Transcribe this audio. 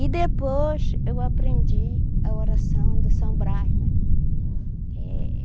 E depois eu aprendi a oração do São Brás, né? Eh